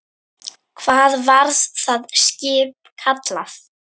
Hvað var það skip kallað?